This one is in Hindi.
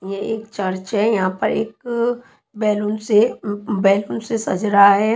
ये एक चर्च है यहां पर एक बैलून से बैलून से सज रहा है।